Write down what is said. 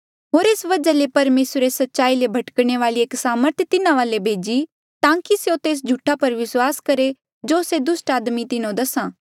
होर एस वजहा ले परमेसरे सच्चाई ले भटकाणे वाली एक सामर्थ तिन्हा वाले भेजी ताकि स्यों तेस झूठा पर विस्वास करहे जो से दुस्ट आदमी तिन्हो दसा